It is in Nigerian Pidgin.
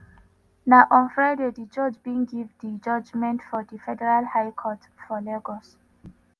na on friday di judge bin give di judgment for di federal high court for lagos.